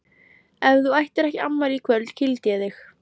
Ef þú ættir ekki afmæli í kvöld kýldi ég þig.